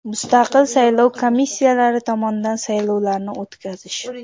Mustaqil saylov komissiyalari tomonidan saylovlarni o‘tkazish.